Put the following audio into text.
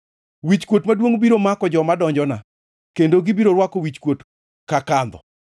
Wichkuot maduongʼ biro mako joma donjona kendo gibiro rwako wichkuot ka kandho.